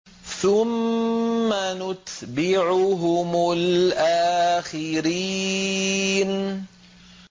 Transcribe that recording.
ثُمَّ نُتْبِعُهُمُ الْآخِرِينَ